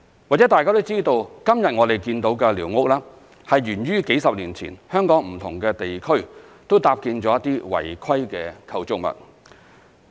或許大家都知道，今天我們看到的寮屋，是源於數十年前，香港在不同地區都搭建了一些違規的構築物。